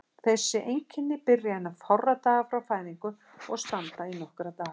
Þessi einkenni byrja innan fárra daga frá fæðingu og standa í nokkra daga.